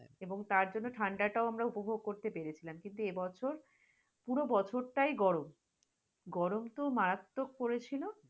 এবং তার সাথে ঠাণ্ডাটাউ আমরা উপভগ করতে পেরেছিলাম, কিন্তু এবছর পুর বছর তাই গরম গরম তো মারাত্মক পরেছিল,